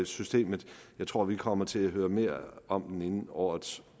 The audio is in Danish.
systemet jeg tror vi kommer til at høre mere om det inden årets